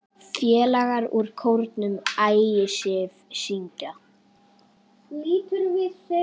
Félagar úr kórnum Ægisif syngja.